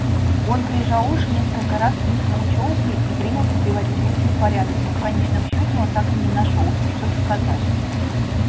он прижал уши несколько раз встряхнул чёлкой и принялся приводить мысли в порядок но в конечном счёте он так и не нашёлся что сказать